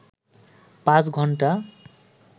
৫ ঘন্টা